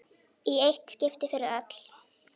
Í eitt skipti fyrir öll!